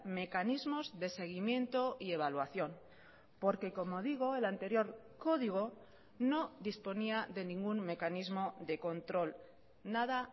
mecanismos de seguimiento y evaluación porque como digo el anterior código no disponía de ningún mecanismo de control nada